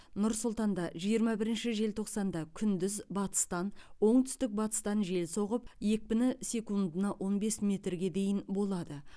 нұр сұлтанда жиырма бірінші желтоқсанда күндіз батыстан оңтүстік батыстан жел соғып екпіні секундына он бес метрге дейін болады